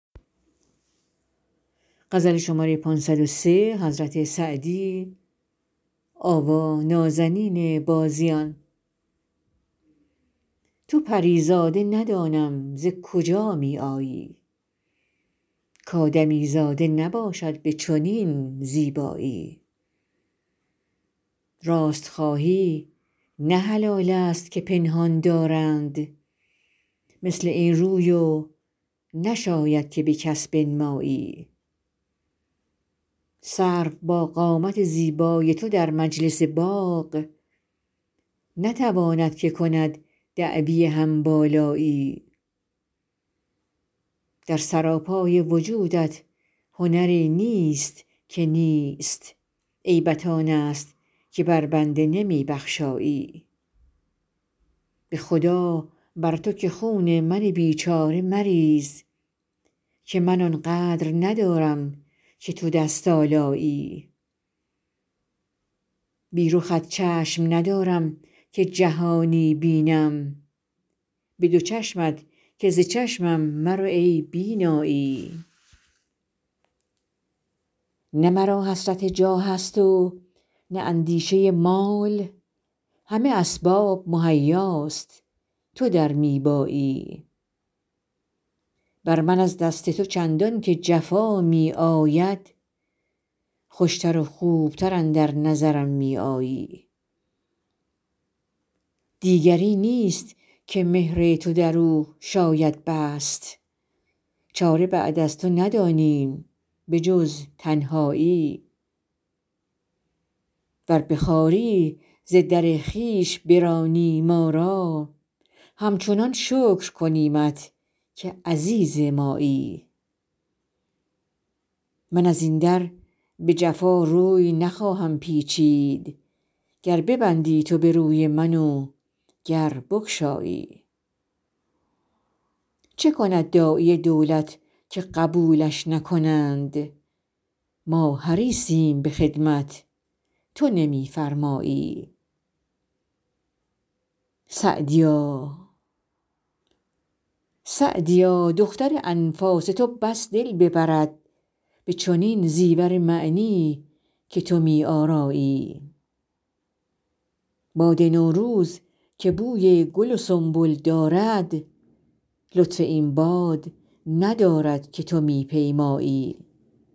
تو پری زاده ندانم ز کجا می آیی کآدمیزاده نباشد به چنین زیبایی راست خواهی نه حلال است که پنهان دارند مثل این روی و نشاید که به کس بنمایی سرو با قامت زیبای تو در مجلس باغ نتواند که کند دعوی هم بالایی در سراپای وجودت هنری نیست که نیست عیبت آن است که بر بنده نمی بخشایی به خدا بر تو که خون من بیچاره مریز که من آن قدر ندارم که تو دست آلایی بی رخت چشم ندارم که جهانی بینم به دو چشمت که ز چشمم مرو ای بینایی نه مرا حسرت جاه است و نه اندیشه مال همه اسباب مهیاست تو در می بایی بر من از دست تو چندان که جفا می آید خوش تر و خوب تر اندر نظرم می آیی دیگری نیست که مهر تو در او شاید بست چاره بعد از تو ندانیم به جز تنهایی ور به خواری ز در خویش برانی ما را همچنان شکر کنیمت که عزیز مایی من از این در به جفا روی نخواهم پیچید گر ببندی تو به روی من و گر بگشایی چه کند داعی دولت که قبولش نکنند ما حریصیم به خدمت تو نمی فرمایی سعدیا دختر انفاس تو بس دل ببرد به چنین زیور معنی که تو می آرایی باد نوروز که بوی گل و سنبل دارد لطف این باد ندارد که تو می پیمایی